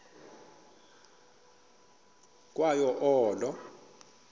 ukwa yo olo